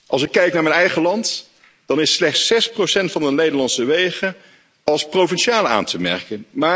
Als ik kijk naar mijn eigen land, dan is slechts 6 van de Nederlandse wegen als provinciaal aan te merken.